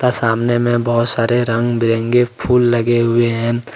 सामने में बहोत सारे रंग बिरंगे फूल लगे हुए हैं।